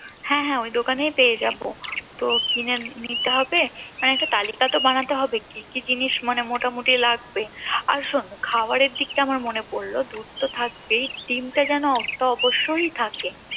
হ্যাঁ হ্যাঁ ঐ দোকানেই পেয়ে যাবো তো কিনে নিতে হবে আর একটা তালিকা তো বানাতে হবে মানে কি কি জিনিস মোটামুটি লাগবে শোন খাবারের দিকটা আমার মনে পরলো দুধ তো থাকবেই ডিম টা যেন অবশ্যই থাকে